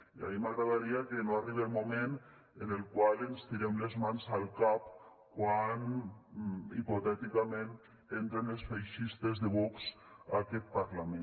i a mi m’agradaria que no arribe el moment en el qual ens tirem les mans al cap quan hipotèticament entren els feixistes de vox a aquest parlament